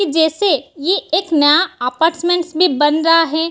जैसे ये एक नया अपार्टमेंट भी बन रहा है।